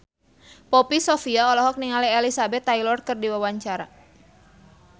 Poppy Sovia olohok ningali Elizabeth Taylor keur diwawancara